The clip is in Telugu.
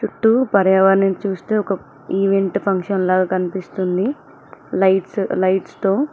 చుట్టూ పర్యావరణం చూస్తే ఒక ఈవెంట్ ఫంక్షన్ లాగా కనిపిస్తుంది లైట్స్ లైట్స్ తో --